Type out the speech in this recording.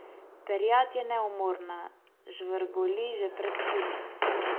Perjad je neumorna, žvrgoli že pred svitom.